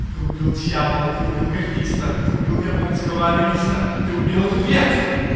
ты убил дьявола ты убил гольфиста ты убил японского онаниста ты убил эту дверцу